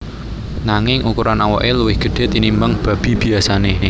Nanging ukuran awake luwih gedhe tinimbang babi biyasane